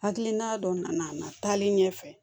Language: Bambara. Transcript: Hakilina dɔ nana a na na taali ɲɛfɛ